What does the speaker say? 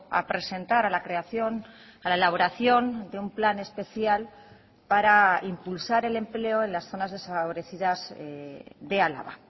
a presentar a la creación a la elaboración de un plan especial para impulsar el empleo en las zonas desfavorecidas de álava